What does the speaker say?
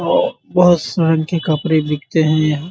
ओ बहुत शान के कपड़े बिकते हैं यहाँ।